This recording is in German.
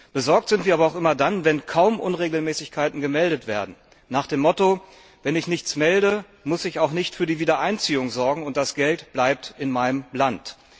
Besorgt sind wir aber auch immer dann, wenn kaum Unregelmäßigkeiten gemeldet werden, nach dem Motto Wenn ich nichts melde, muss ich auch nicht für die Wiedereinziehung sorgen, und das Geld bleibt in meinem Land.